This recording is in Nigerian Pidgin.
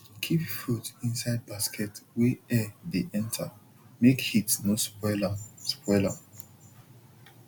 keep fruit inside basket wey air dey enter make heat no spoil am spoil am